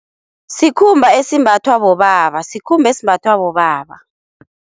Sikhumba esimbathwa bobaba, sikhumba esimbathwa bobaba.